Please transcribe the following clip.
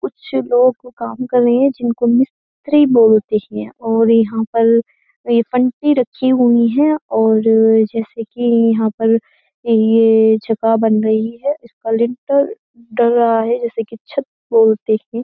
कुछ लोग काम कर रहे हैं जिनको मिस्त्री बोलते हैं और यहाँ पर ये फंटी रखी हुई है और जैसे कि यहाँ पर ये जगह बन रही है इसका लिंटेल डल रहा है जैसे कि छत बोलते हैं।